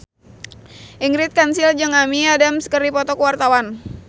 Ingrid Kansil jeung Amy Adams keur dipoto ku wartawan